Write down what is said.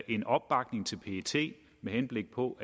en opbakning til pet med henblik på